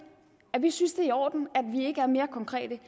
at vi synes det er i orden at vi ikke er mere konkrete